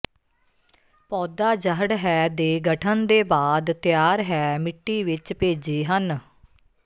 ਪੌਦਾ ਜੜ੍ਹ ਹੈ ਦੇ ਗਠਨ ਦੇ ਬਾਅਦ ਤਿਆਰ ਹੈ ਮਿੱਟੀ ਵਿੱਚ ਭੇਜੀ ਹਨ